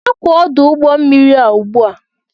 Hapụ ọdụ ụgbọ mmiri a ugbu a!